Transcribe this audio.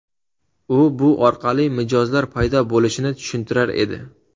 U bu orqali mijozlar paydo bo‘lishini tushuntirar edi.